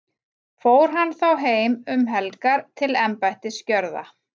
fór hann þá heim um helgar til embættisgjörða